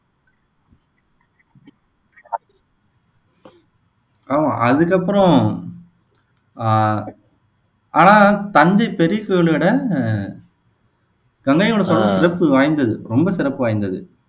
ஆமா அதுக்கப்புறம் ஆஹ் ஆனா தஞ்சை பெரிய கோவில விட அஹ் கங்கை கொண்ட சோழபுரம் சிறப்பு வாய்ந்தது ரொம்ப சிறப்பு வாய்ந்தது